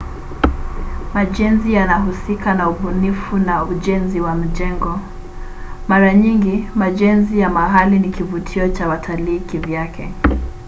majenzi yanahusika na ubunifu na ujenzi wa majengo. mara nyingi majenzi ya mahali ni kivutio cha watalii kivyake